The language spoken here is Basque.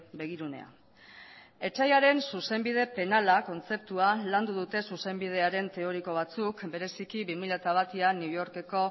begirunea etsaiaren zuzenbide penala kontzeptua landu dute zuzenbidearen teoriko batzuk bereziki bi mila batean new yorkeko